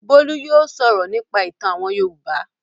Bólú yóò sọ̀rọ̀ nípa ìtàn àwọn Yorùbá.